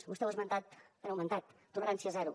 vostè ho ha esmentat han augmentat tolerància zero